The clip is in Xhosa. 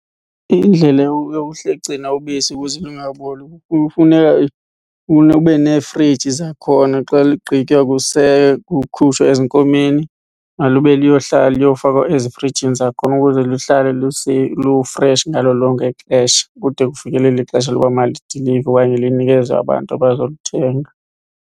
Indlela yokugcina ubisi ukuze lungaboli kufuneka ube neefriji zakhona xa ligqitywa kukhutshwa ezinkomeni, malube luyohlala liyofakwa ezifrijini zakhona ukuze luhlale lufreshi ngalo lonke ixesha kude kufikelele ixesha loba malidilivwe okanye linikezelwe abantu abazolithenga.